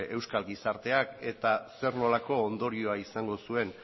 euskal gizarteak eta zer nolako ondorioa izango zuen